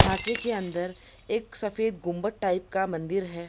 ढांचे के अंदर एक सफ़ेद गुम्बद टाइप का मंदिर हैं।